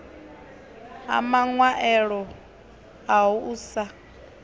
a maṅwaelo aho u sa